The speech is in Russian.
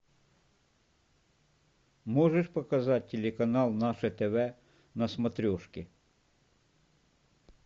можешь показать телеканал наше тв на смотрешке